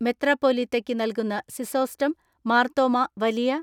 മെത്രാപ്പൊലീത്തയ്ക്ക് നൽകുന്ന സിസോസ്റ്റം മാർത്തോമ്മ വലിയ